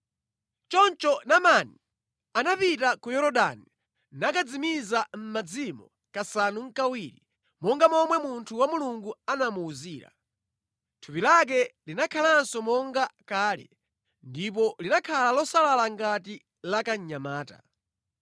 Choncho Naamani anapita ku Yorodani nakadzimiza mʼmadzimo kasanu nʼkawiri, monga momwe munthu wa Mulungu anamuwuzira. Thupi lake linakhalanso monga kale ndipo linakhala losalala ngati la kamnyamata.